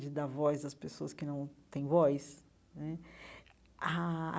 de dar voz às pessoas que não têm voz né ah.